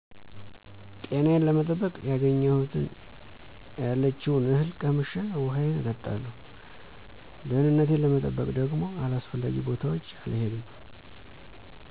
ጤናዬን ለመጠበቅ ያገኘሁትን ያለችውን እህል ቀምሼ ውሀዬን እጠጣለሁ። ደህንነቴን ለመጠበቅ ደግሞ አላስፈላጊ ቦታዎች አልሄድም።